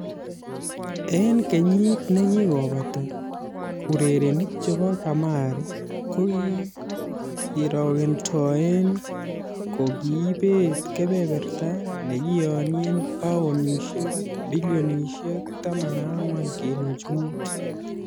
En kenyit ne kigobata, urerenik chebo kamari kokigirekoden kokiibet kebeberta ne kiyonien paunishek bilionishek 14.5